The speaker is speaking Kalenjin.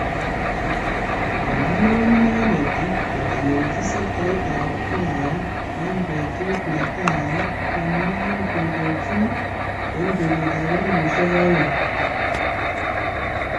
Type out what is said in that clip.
Kikilewen inendet kotelelchi sektait ab Hai en betut netai nenyin kondochi en kenyitab elfushek aeng